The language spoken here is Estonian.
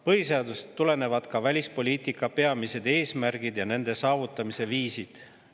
Põhiseadusest tulenevad ka välispoliitika peamised eesmärgid ja nende saavutamise viisid.